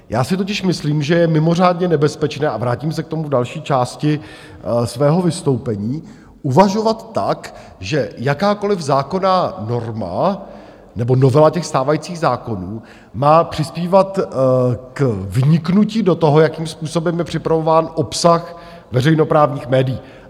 Já si totiž myslím, že je mimořádně nebezpečné - a vrátím se k tomu v další části svého vystoupení - uvažovat tak, že jakákoliv zákonná norma nebo novela těch stávajících zákonů má přispívat k vniknutí do toho, jakým způsobem je připravován obsah veřejnoprávních médií.